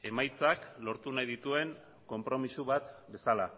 emaitzak lortu nahi dituen konpromiso bat bezala